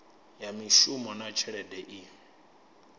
ya mishumo na tshelede i